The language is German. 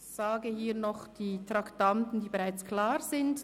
Ich nenne hier noch die Traktanden, die bereits klar sind.